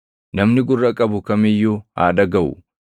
Namni gurra qabu kam iyyuu haa dhagaʼu.